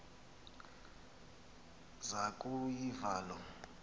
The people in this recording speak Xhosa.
zaku yiva loo